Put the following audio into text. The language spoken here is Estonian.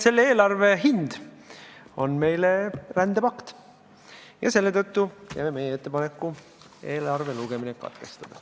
Selle eelarve hind meie jaoks on rändepakt ja selle tõttu teeme meie ettepaneku eelarve lugemine katkestada.